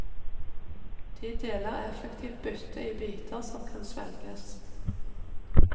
De deler effektivt byttet i biter som kan svelges.